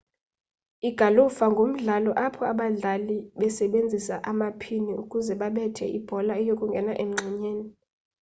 igalufa ngumdlalo apho abadlali basebenzisa amaphini ukuze babethe ibhola iyokungena emngxunyeni